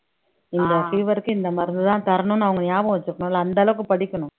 இந்த fever க்கு இந்த மருந்துதான் தரணும்னு அவங்க நியாபகம் வச்சுக்கணும்ல்ல அந்த அளவுக்கு படிக்கணும்